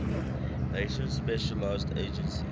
nations specialized agencies